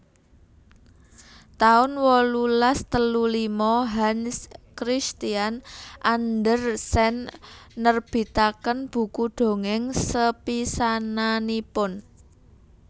taun wolulas telu lima Hans Christian Andersen nerbitaken buku dongèng sepisananipun